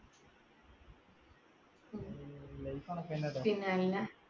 പിന്നല്ല